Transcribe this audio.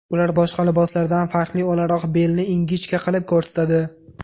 Ular boshqa liboslardan farqli o‘laroq belni ingichka qilib ko‘rsatadi.